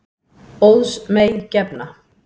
Óðs mey gefna.